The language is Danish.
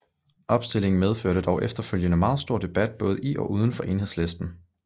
Opstillingen medførte dog efterfølgende meget stor debat både i og udenfor Enhedslisten